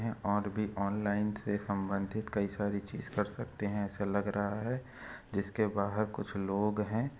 यह और भी ऑनलाइन से संबंधित कई सारी चीज कर सकते है ऐसा लग रहा है जिसके बाहर कुछ लोग है।